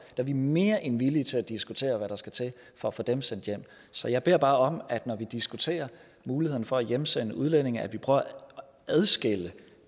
er vi mere end villige til at diskutere hvad der skal til for at få dem sendt hjem så jeg beder bare om at når vi diskuterer muligheden for at hjemsende udlændinge at vi prøver at adskille